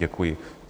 Děkuji.